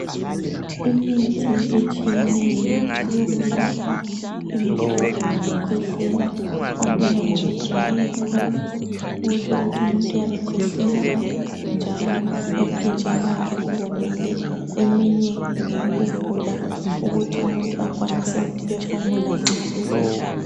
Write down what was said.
Imithi etshiyeneyo yokulapha imihlobo wokukhwehlela omunye ngowedry cough okutsho ukuthi umuntu uyabe khwehlela njalo emphinjeni wakhe kuwomile eminye ngeyokuvula ukuthi umuntu akwanise ukuphefumula nxa elele.